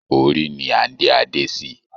Orí ni à ń dé adé sí.